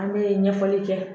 An bɛ ɲɛfɔli kɛ